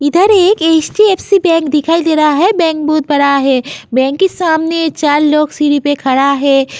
इधर एक HDFC bank दिखाई दे रहा है। बैंक बहोत बड़ा है। बैंक के सामने चार लोग सीढ़ी पे खड़ा है।